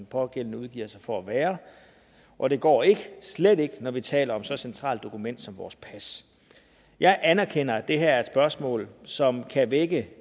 pågældende udgiver sig for at være og det går ikke slet ikke når vi taler om så centralt et dokument som vores pas jeg anerkender at det her er et spørgsmål som kan vække